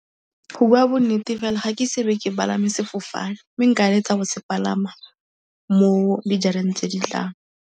Go bua bonnete fela, ga ke ise be ke palame sefofane. Mme nka eletsa go se palama mo dijareng tse di tlang.